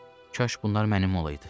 Kaş bunlar mənim olaydı.